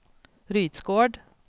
Rydsgård